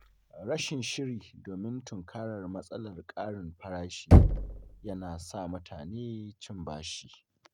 Rashin shiri domin tunkarar matsalar ƙarin farashi yana sa mutane cin bashi.